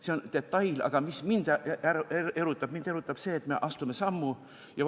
See on detail, aga mis mind erutab, on see, et me astume sammu.